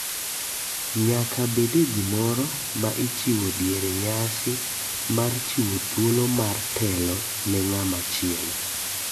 Nyaka bede gimoro ma ichiwo diere nyasi mar chiwo thuolo ar telo ne ng'ama chielo.